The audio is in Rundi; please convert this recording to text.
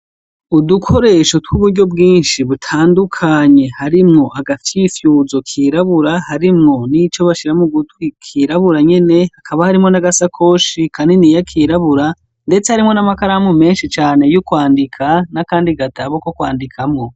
Udukoreaho twuburyo bwinshi butandujanye, harimwo agapfyifuzo kirabura, harimwo nico bashira mugutwi kirabura nyene hakaba harimwo nagasakoshi kirabura, ndetse harimwo n'amakaramu menshi cane yokwandika, N'akandi gatabo ko kwandikamwo.